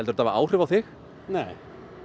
þetta hafi áhrif á þig nei